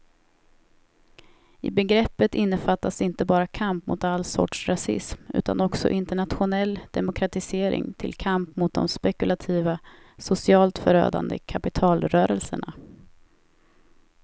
I begreppet innefattas inte bara kamp mot all sorts rasism utan också internationell demokratisering till kamp mot de spekulativa, socialt förödande kapitalrörelserna.